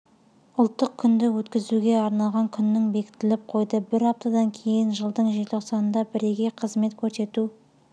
ұлттық күнді өткізуге арналған күннің бекітіліп қойды бір аптадан кейін жылдың желтоқсанында бірегей қызмет көрсету